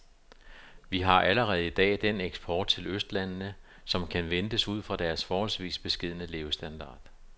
Vi har allerede i dag den eksport til østlandene, som kan ventes ud fra deres forholdsvis beskedne levestandard.